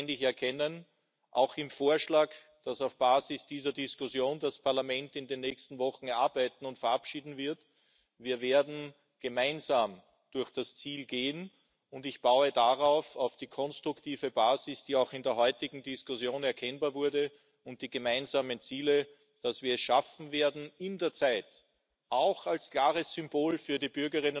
werden. Wir haben einen starken Datenschutzausschuss auch gewollt. In der Verordnung gibt es in diesem Zusammenhang auch ein neues Modell der koordinierten Aufsicht für die Datenbanken und Informationssysteme. Bisher existierte für zentralisierte Systeme, die Daten aus den Mitgliedstaaten enthalten, ein eigenes Aufsichtsgremium aus EDSB, nationalen Behörden, jedes mit eigenen Prozeduren, eigenem Vorsitz, eigenem Tralala, sag ich jetzt mal. Das haben wir tatsächlich beendet, um einen einheitlichen Mechanismus der Kontrolle